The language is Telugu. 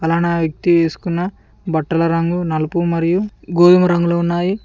అలానే ఆ వ్యక్తి వేసుకున్న బట్టల రంగు నలుపు మరియు గోధుమ రంగులు ఉన్నాయి.